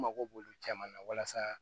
N mago b'olu caman na walasa